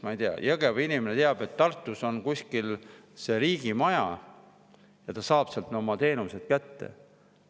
Näiteks Jõgeva inimene teab, et Tartus on kuskil see riigimaja ja ta saab sealt oma teenused kätte.